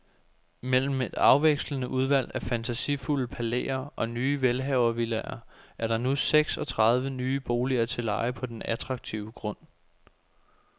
Mellem et afvekslende udvalg af fantasifulde palæer og nye velhavervillaer er der nu seks og tredive nye boliger til leje på den attraktive grund.